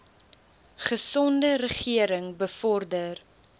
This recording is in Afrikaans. gesonde regering bevorder